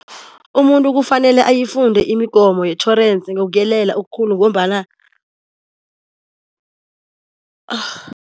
Umuntu kufanele uyifunde imigomo yetjhorense ngokuyelela okukhulu ngombana .